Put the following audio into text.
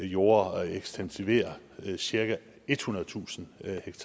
jorde og ekstensiverer cirka ethundredetusind